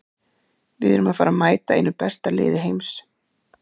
Við erum að fara að mæta einu besta liði heims.